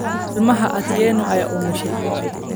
Ilmaha Atieno ayaa umushaay.